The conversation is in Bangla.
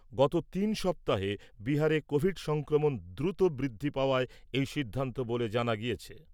গত তিন সপ্তাহে বিহারে কোভিড সংক্রমণ দ্রুত বৃদ্ধি পাওয়ায় এই সিদ্ধান্ত বলে জানা গেছে ।